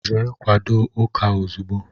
Jee kwadó ụka ozigbo!!!